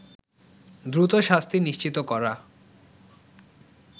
দ্রুত শাস্তি নিশ্চিত করা